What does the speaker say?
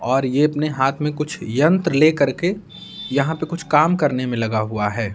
और ये अपने हाथ में कुछ यंत्र लेकर के यहां पर कुछ काम करने में लगा हुआ है।